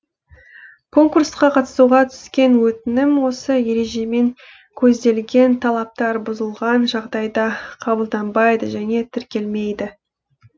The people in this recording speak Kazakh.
конкурсқа қатысуға түскен өтінім осы ережемен көзделген талаптар бұзылған жағдайда қабылданбайды және тіркелмейді